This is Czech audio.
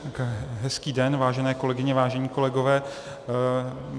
Hezký den, vážené kolegyně, vážení kolegové.